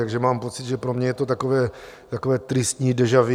Takže mám pocit, že pro mě je to takové tristní déjà vu.